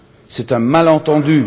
C'est un malentendu.